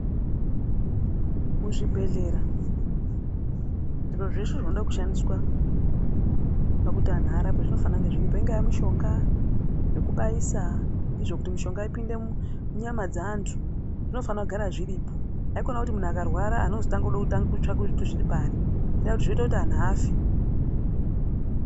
Muzvibhehlera zviro zveshe zvinoda kushandiswa pakuti anhu arapwe zvinofana kunge zvirimo. Ingaa mishonga, zvekubaisa nezvokuti mishonga ipinde munyama dzeantu zvinofana kugara zviripo. Haikona kuti muntu akarwara antu ozoda kutanga kutsvaka kuti zviri pari. Ngendaa yekuti zvinoita kuti anhu afe.